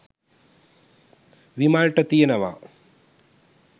විමල්ට තියෙනවා.